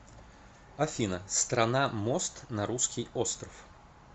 афина страна мост на русский остров